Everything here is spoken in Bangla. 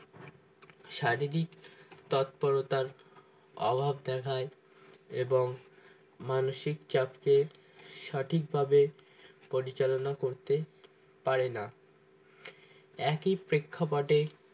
শারীরিক তৎপরতার অভাব দেখায় এবং মানসিক চাপ কে সঠিকভাবে পরিচালনা করতে পারে না একই প্রেক্ষাপটে